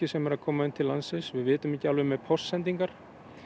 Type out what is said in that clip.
sem eru að koma til landsins við vitum ekki alveg með póstsendingar